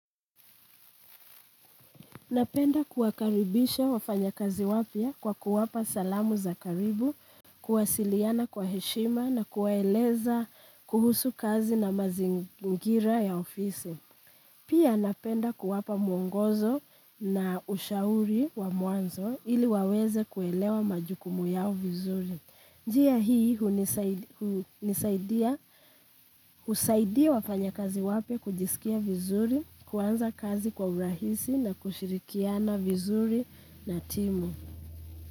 Napenda kuwakaribisha wafanyakazi wapya kwa kuwapa salamu za karibu, kuwasiliana kwa heshima na kuwaeleza kuhusu kazi na mazingira ya ofisi. Pia napenda kuwapa mwongozo na ushauri wa mwanzo ili waweze kuelewa majukumu yao vizuri. Njia hii hunisaid hunisaidia husaidia wafanyakazi wapya kujisikia vizuri, kuanza kazi kwa urahisi na kushirikiana vizuri na timu.